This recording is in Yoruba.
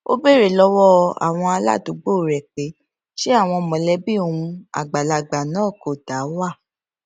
ó béèrè lówó àwọn aládùúgbò rè pé ṣé àwọn àwọn mòlébí òun àgbàlagbà náà kò dá wà